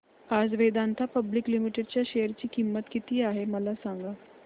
आज Vedanta public limited च्या share ची किंमत किती आहे मला सांगा